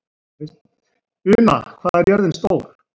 Una, hvað er jörðin stór?